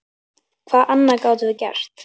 Hvað annað gátum við gert?